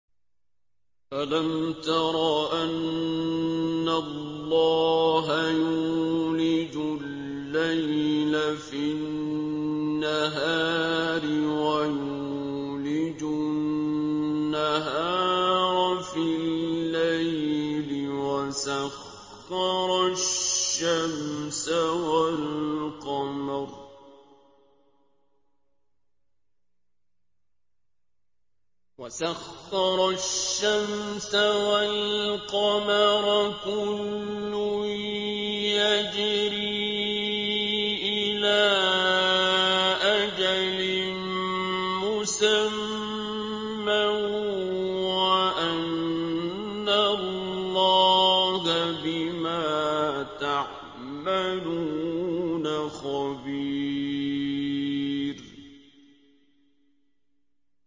أَلَمْ تَرَ أَنَّ اللَّهَ يُولِجُ اللَّيْلَ فِي النَّهَارِ وَيُولِجُ النَّهَارَ فِي اللَّيْلِ وَسَخَّرَ الشَّمْسَ وَالْقَمَرَ كُلٌّ يَجْرِي إِلَىٰ أَجَلٍ مُّسَمًّى وَأَنَّ اللَّهَ بِمَا تَعْمَلُونَ خَبِيرٌ